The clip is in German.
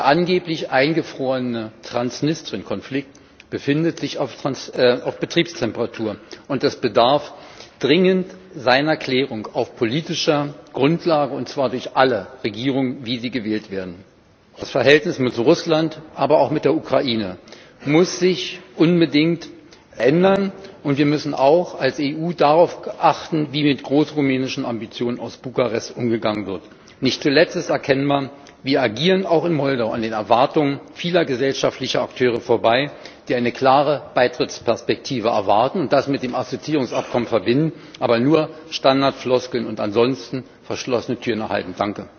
Der angeblich eingefrorene Transnistrien Konflikt befindet sich auf Betriebstemperatur. Es bedarf dringend seiner Klärung auf politischer Grundlage, und zwar durch alle Regierungen, wie sie gewählt werden. Das Verhältnis mit Russland, aber auch mit der Ukraine, muss sich unbedingt verändern, und wir müssen als EU auch darauf achten, wie mit großrumänischen Ambitionen aus Bukarest umgegangen wird. Nicht zuletzt ist erkennbar Wir agieren auch in Moldau an den Erwartungen vieler gesellschaftlicher Akteure vorbei, die eine klare Beitrittsperspektive erwarten und das mit dem Assoziierungsabkommen verbinden, aber nur Standardfloskeln und ansonsten verschlossene Türen erhalten.